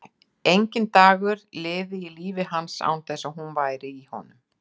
Enginn dagur liði í lífi hans án þess að hún væri í honum.